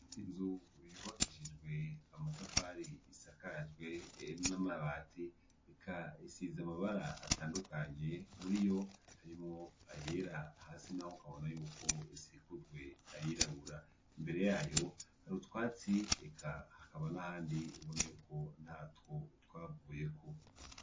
Inzu yubakishijwe amatafari, isakajwe n'amabati, eka isize amabara atandukanye; muri yo harimwo ayera, hasi naho ukabona yuko isikujwe ayirabura. Imbere yayo hari utwatsi eka hakaba n'ahandi ubona yuko ntatwo, twavuyeko.